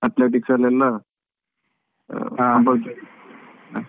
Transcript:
Athletic ಅಲ್ಲಿಯೆಲ್ಲ compulsory .